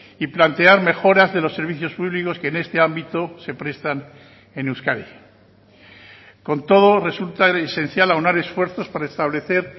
y plantear mejoras de los servicios públicos que en este ámbito se prestan en euskadi con todo resulta esencial aunar esfuerzos para establecer